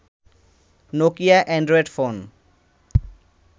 Nokia Android phone